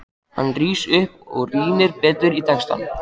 Hann rís upp og rýnir betur í textann.